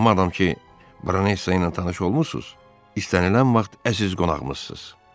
Madam ki, Baronesa ilə tanış olmusunuz, istənilən vaxt əziz qonağımızsız.